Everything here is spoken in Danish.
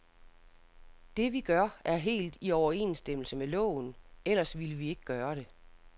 Det, vi gør, er helt i overensstemmelse med loven, ellers ville vi ikke gøre det.